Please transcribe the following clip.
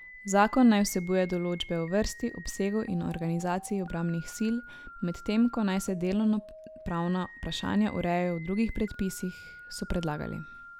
Zakon naj vsebuje določbe o vrsti, obsegu in organizaciji obrambnih sil, medtem ko naj se delovnopravna vprašanja urejajo v drugih predpisih, so predlagali.